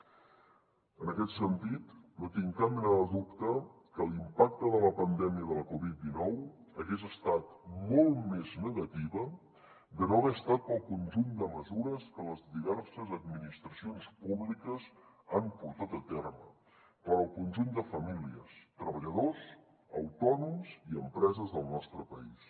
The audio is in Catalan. en aquest sentit no tinc cap mena de dubte que l’impacte de la pandèmia de la covid dinou hagués estat molt més negativa de no haver estat pel conjunt de mesures que les diverses administracions públiques han portat a terme per al conjunt de famílies treballadors autònoms i empreses del nostre país